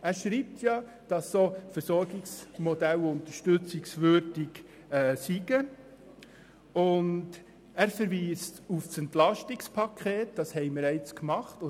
Er schreibt, solche Versorgungsmodelle seien unterstützungswürdig und verweist auf das Entlastungspaket, über das wir diskutiert haben.